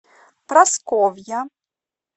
прасковья